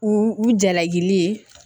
U u jalaki ye